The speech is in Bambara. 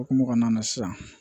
Okumu kɔnɔna na sisan